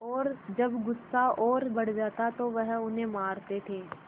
और जब गुस्सा और बढ़ जाता तो वह उन्हें मारते थे